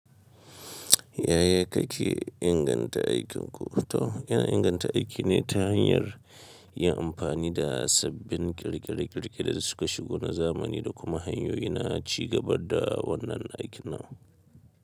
Yaya kake inganta aikinku? To, yana inganta aiki ne ta hanyar yin amfani da sabbin ƙirƙire-ƙirƙire da suka shigo na zamani da kuma hanyoyi na ci gaba da wannan aikin nan.